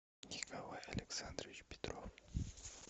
николай александрович петров